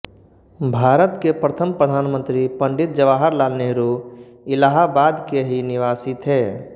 भारत के प्रथम प्रधानमंत्री पंडित जवाहरलाल नेहरु इलाहाबाद के ही निवासी थे